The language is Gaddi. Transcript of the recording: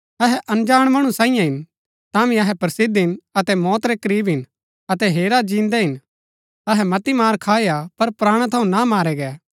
अहै अनजाण मणु सांईये हिन तांभी अहै प्रसिद्ध हिन अहै मौत रै करीब हिन अतै हेरा जिन्दै हिन अहै मती मार खाई हा पर प्राणा थऊँ ना मारै गै